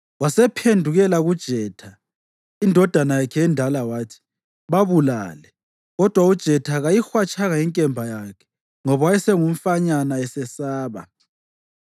Wasephendukela kuJetha, indodana yakhe endala, wathi, “Babulale!” Kodwa uJetha kayihwatshanga inkemba yakhe, ngoba wayengumfanyana esesaba.